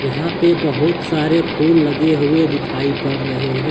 यहां पे बहुत सारे फूल लगे हुए दिखाई पड़ रहे हैं।